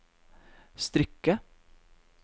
strikke